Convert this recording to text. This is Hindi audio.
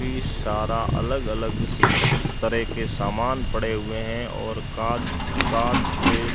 भी सारा अलग अलग स तरह के समान पड़े हुए हैं और कांच कांच के --